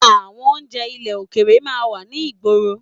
Àwọn oúnjẹ ilẹ̀ òkèrè máa ń wà ní ìgboro